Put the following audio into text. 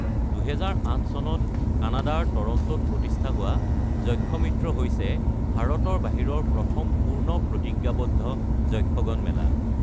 ২০০৮ চনত কানাডাৰ টৰন্টোত প্ৰতিষ্ঠা হোৱা যক্ষমিত্ৰ হৈছে ভাৰতৰ বাহিৰৰ প্ৰথম পূৰ্ণ প্ৰতিজ্ঞাবদ্ধ যক্ষগন মেলা ।